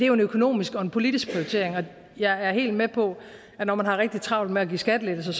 jo en økonomisk og en politisk prioritering og jeg er helt med på at når man har rigtig travlt med at give skattelettelser